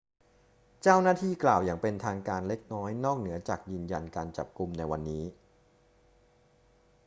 เจ้าหน้าที่กล่าวอย่างเป็นทางการเล็กน้อยนอกเหนือจากยืนยันการจับกุมในวันนี้